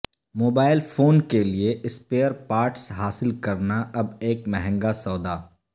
mobile phone کیلئے spare parts حاصل کرنا اب ایک مہنگا سودا